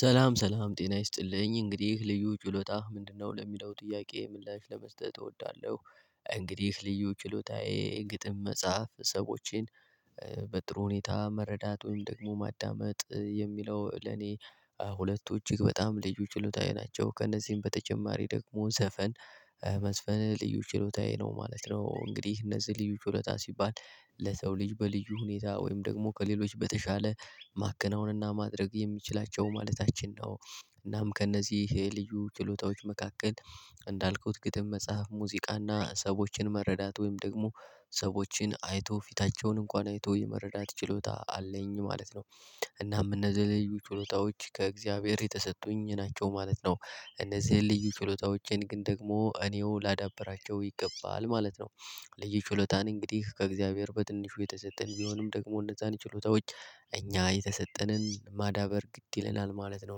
ሰላም ሰላም ጤና ይስጥልኝ እንግዲህ ልዩ ችሎታህ ምንድነው? ለሚለው ጥያቄ ምላሽ ለመስጠት እወዳለሁ። እንግዲህ ልዩ ችሎታዬ ግጥም መጽሐፍ ሰዎችን በጥሩ ሁኔታ መረዳት ወይም ደግሞ ማዳመጥ የሚለው ለኔ ሁለቱ እጅግ በጣም ልዩ ችሎታዬ ናቸው። ከእነዚህም በተጨማሪ ደግሞ ዘፈን መዝፈን ልዩ ችሎታዬ ነው ማለት ነው። እንግዲህ እነዚህ ልዩ ችሎታ ሲባል ለሰው ልጅ በልዩ ሁኔታ ወይም ደግሞ ከሌሎች በተሻለ ማከናወንና ማድረግ የሚችላቸው ማለታችን ነው። እናም ከእነዚህ የልዩ ችሎታዎች መካከል እንዳልኩት ግጥም መጽሐፍ ሙዚቃና ሰዎችን መረዳት ወይም ደግሞ ሰዎችን አይቶ ፊታቸውን እንኳን አይቶ የመረዳት ችሎታ አለኝ ማለት ነው። እናም እነዚህ ልዩ ችሎታዎች ከእግዚአብሔር የተሰጡኝ ናቸው ማለት ነው። እነዚህን ልዩ ችሎታዎቼን ግን ደግሞ እኔው ላዳብራቸው ይገባል ማለት ነው። ልዩ ችሎታን እንግዲህ ከእግዚአብሔር በትንሹ የተሰጠን ቢሆንም ደግሞ እነዛን ችሎታዎች እኛ የተሰጠንን ማዳበር ግድ ይለናል ማለት ነው።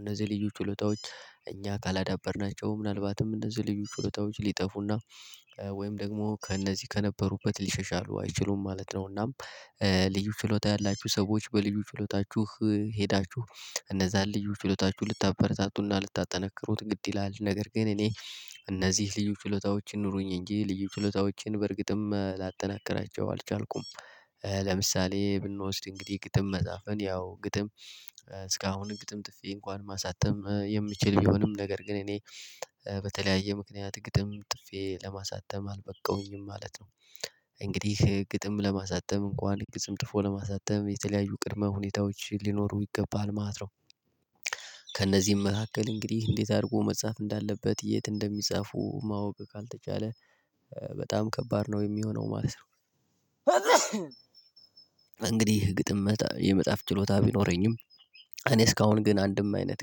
እነዚህ ልዩ ችሎታዎችእኛ ካላዳበርናቸው ምናልባትም እነዚህ ልዩ ችሎታዎች ሊጠፉና ወይም ደግሞ ከእነዚህ ከነበሩበት ሊሸሻሉ አይችሉም ማለት ነው። እናም ልዩ ችሎታ ያላችሁ ሰዎች በልዩ ችሎታችሁ ሄዳችሁ እነዛን ልዩ ችሎታችሁ ልታበረታቱና ልታጠነክሩት ግድ ይላል ነገር ግን እኔ እነዚህ ልዩ ችሎታዎችን ይኑሩኝ እንጂ ልዩ ችሎታዎችን በእርግጥም ላጠናከራቸው አልቻልኩም። ለምሳሌ ብንወስድ እንግዲህ ግጥም መጻፍን ያው ግጥም እስካሁን ግጥም ጥፌ እንኳን ማሳተም የሚችል ቢሆንም ነገር ግን እኔ በተለያየ ምክንያት ግጥም ጥፌ ለማሳተም አልበቃሁኝም ማለት ነው። እንግዲህ ግጥም ለማሳተም እንኳን ግጽም ጥፎ ለማሳተም የተለያዩ ቅድመ ሁኔታዎች ሊኖሩ ይገባል ማለት ነው። ከእነዚህም መካከል እንግዲህ እንዴት አድርጎ መጻፍ እንዳለበት የት እንደሚጻፉ ማወቅ ካልተቻለ በጣም ከባድ ነው የሚሆነው ማለት ነው። እንግዲህ ግጥም መጣ የመጽሐፍ ችሎታ ቢኖረኝም እኔ እስካሁን ግን አንድም አይነት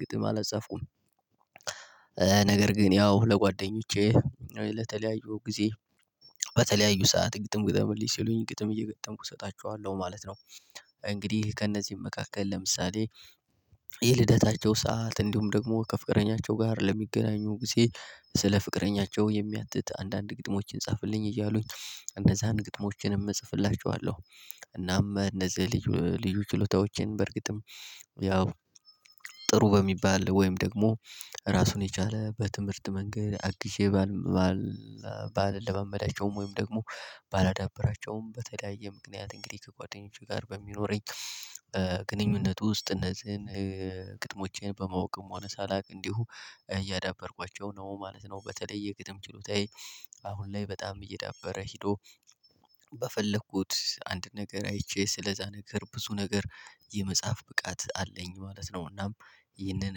ግጥም አላጻፍኩም። ነገር ግን ያው ለጓደኞቼ ለተለያዩ ጊዜ በተለያዩ ሰዓት ግጥም ግጠምልኝ ሲሉኝ ግጥም እየገጠምኩ እሰጣቸዋለሁ ማለት ነው። እንግዲህ ከእነዚህ መካከል ለምሳሌ የልደታቸው ሰዓት እንዲሁም ደግሞ ከፍቅረኛቸው ጋር ለሚገናኙ ጊዜ ስለ ፍቅረኛቸው የሚያትት አንዳንድ ግጥሞችን ጻፍልኝ እያሉኝ እነዛን ግጥሞችንም እጽፍላቸዋለሁ። እናም እነዚህ ልዩ ልዩ ችሎታዎቼን በእርግጥም ያው ጥሩ በሚባል ወይም ደግሞ ራሱን የቻለ በትምህርት መንገድ አግዤ ባል ባልለመማዳቸውም ወይም ደግሞ ባላዳብራቸውም በተለያየ ምክንያት እንግዲህ ከጓደኞቼ ጋር በሚኖረኝ ግንኙነት ውስጥ እነዚህን ግጥሞቼን በማወቅም ሆነ ሳላውቅ እንዲሁ እያዳበርኳቸው ነው ማለት ነው። በተለይ ግጥም ችሎታዬ አሁን ላይ በጣም እየዳበረ ሄዶ በፈለኩት አንድን ነገር አይቼ ስለዛ ነገር ብዙ ነገር የመጽሐፍ ብቃት አለኝ ማለት ነው። እናም ይህንን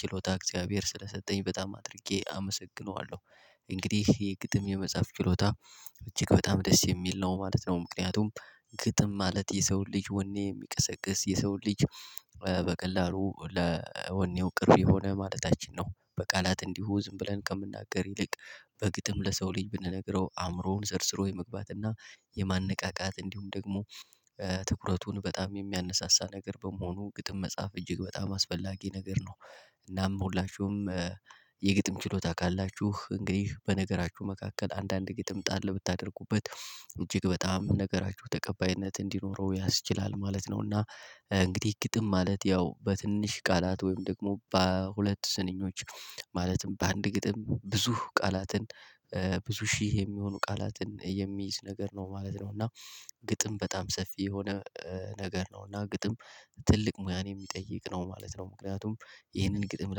ችሎታ እግዚአብሔር ስለሰጠኝ በጣም አድርጌ አመሰግነዋለሁ። እንግዲህ ይሄ ግጥም የመጽሐፍ ችሎታ እጅግ በጣም ደስ የሚል ነው ማለት ነው። ምክንያቱም ግጥም ማለት የሰውን ልጅ ወኔ የሚቀሰቅስ የሰውን ልጅ በቀላሉ ለወኔው ቅርብ የሆነ ማለታችን ነው። በቃላት እንዲሁ ዝም ብለን ከምናገር ይልቅ በግጥም ለሰው ልጅ ብንነግረው አእምሮውን ሰርስሮ የመግባትና የማነቃቃት እንዲሁም ደግሞ ትኩረቱን በጣም የሚያነሳሳ ነገር በመሆኑ ግጥም መጽሐፍ እጅግ በጣም አስፈላጊ ነገር ነው። እናም ሁላችሁም የግጥም ችሎታ ካላችሁ እንግዲህ በነገራችሁ መካከል አንዳንድ ግጥም ጣል ብታደርጉበት እጅግ በጣም ነገራችሁ ተቀባይነት እንዲኖረው ያስችላል ማለት ነው። እና እንግዲህ ግጥም ማለት ያው በትንሽ ቃላት ወይም ደግሞ በሁለት ስንኞች ማለትም በአንድ ግጥም ብዙ ቃላትን ብዙ ሺህ የሚሆኑ ቃላትን የሚይዝ ነገር ነው ማለት ነው። እና ግጥም በጣም ሰፊ የሆነ ነገር ነው እና ግጥም ትልቅ ሙያን የሚጠይቅ ነው ማለት ነው ምክንያቱም ይህንን ግጥም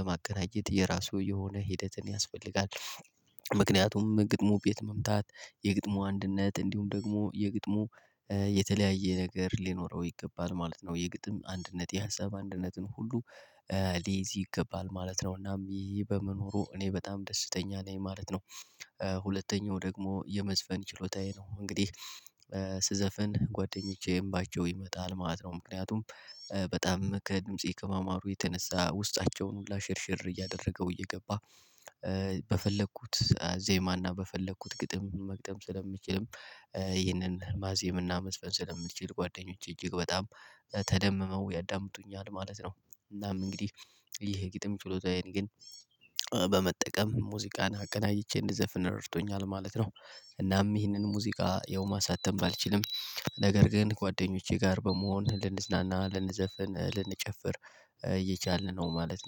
ለማቀናጀት የራሱ የሆነ ሂደትን ያስፈልጋል። ምክንያቱም ግጥሙ ቤት መምታት የግጥሙ አንድነት እንዲሁም ደግሞ የግጥሙ የተለያየ ነገር ሊኖረው ይገባል ማለት ነው። የግጥም አንድነት የሀሳብ አንድነትን ሁሉ ሊይዝ ይገባል ማለት ነው። እናም ይሄ በመኖሩ እኔ በጣም ደስተኛ ነኝ ማለት ነው። ሁለተኛው ደግሞ የመዝፈን ችሎታዬ ነው እንግዲህ ስዘፍን ጓደኞቼ እምባቸው ይመጣል ማለት ነው። ምክንያቱም በጣም ከድምጼ ከማማሩ የተነሳ ውስጣቸውን ሁላ ሽርሽር እያደረገው እየገባ በፈለኩት ዜማና በፈለኩት ግጥም መግጠም ስለምችልም ይህንን ማዜም እና መዝፈን ስለምችል ጓደኞቼ እጅግ በጣም ተደምመው ያዳምጡኛል ማለት ነው። እናም እንግዲህ ይሄ ግጥም ችሎታዬን ግን በመጠቀም ሙዚቃን አቀናጅቼ እንደዘፍን ረድቶኛል ማለት ነው። እናም ይህንን ሙዚቃ ያው ማሳተም ባልችልም ነገር ግን ጓደኞቼ ጋር በመሆን ልንዝናና ልንዘፍን ልንጨፍር እየቻልን ነው ማለት ነው